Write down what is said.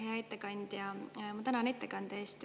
Hea ettekandja, ma tänan ettekande eest.